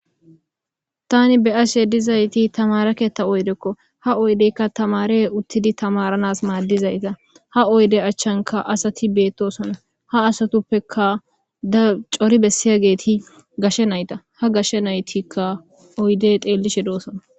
Ta be'ashe dizaytti tamare keeththa oyddekko. Ha oydekka tamare uttidi tamaranas madizatta. Ha oyde achankka asati bettosonna. Ha asatuppekka cori bessiyagetti gashe naytta. Ha Gashe nayttika oydde dhelishe de'ossona